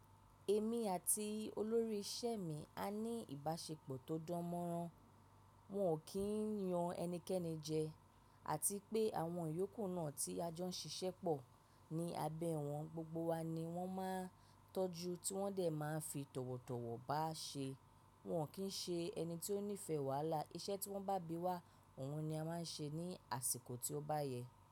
Èmi àti olórí isẹ́ mi a ní ìbáṣepọ̀ tó dán mọ́rán. Wọn ò kí ń yan ẹnikẹ́ni jẹ, àti pé àwọn ìyókù náà tí a jọ ń ṣiṣẹ́ pọ̀ ní abẹ́ wọn, gbogbo wa ni wọ́n máa ń tọ́jú tí wọ́n dẹ̀ máa ń fi tọ̀wọ̀tọ̀wọ̀ bá ṣe. Wọn kì í ṣe ẹni tí ó nífẹ̀ẹ́ wàhálà, iṣẹ́ tí wọ́n bá bí wá, òhun ni a máa ń ṣe ní àsìkò tí ó bá yẹ.